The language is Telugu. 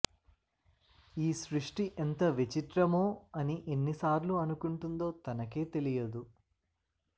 ఈ సృష్టి ఎంత విచిత్రమో అని ఎన్నిసార్లు అనుకుంటుందో తనకే తెలియదు